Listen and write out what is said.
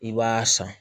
I b'a san